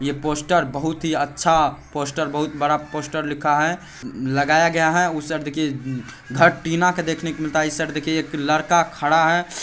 Poster बहुत ही अच्छा पोस्टर बहुत बड़ा पोस्ट लिखा है लगाया गया है उस अर्ध कि गटीना देख ने मिलता है इस अर्ध कि लड़का खड़ा है।